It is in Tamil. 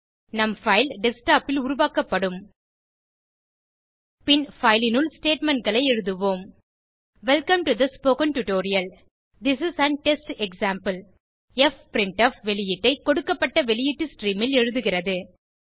நம் பைல் டெஸ்க்டாப் ல் உருவாக்கப்படும் பின் பைல் னுள் statementகளை எழுதுவோம் welcome to the spoken tutorial this is an test example fprintf வெளியீட்டை கொடுக்கப்பட்ட வெளியீட்டு ஸ்ட்ரீம் ல் எழுதுகிறது